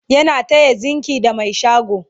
yana taya zingi da Mai shago